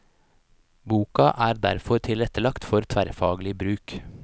Boka er derfor tilrettelagt for tverrfaglig bruk.